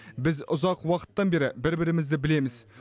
біз ұзақ уақыттан бері бір бірімізді білеміз